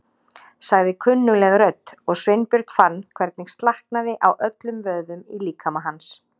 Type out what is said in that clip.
sagði kunnugleg rödd og Sveinbjörn fann hvernig slaknaði á öllum vöðvum í líkama hans.